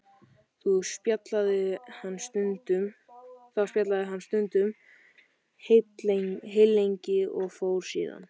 Þá spjallaði hann stundum heillengi og fór síðan.